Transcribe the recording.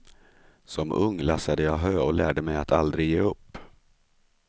Som ung lassade jag hö och lärde mig att aldrig ge upp.